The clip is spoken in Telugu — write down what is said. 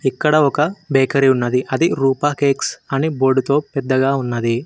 ఇక్కడ ఒక బేకరీ ఉన్నది అది రూపా కేక్స్ అని బోర్డుతో పెద్దగా ఉన్నది